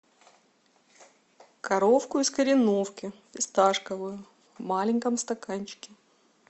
коровку из кореновки фисташковую в маленьком стаканчике